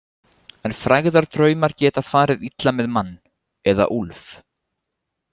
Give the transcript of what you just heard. En frægðardraumar geta farið illa með mann, eða úlf.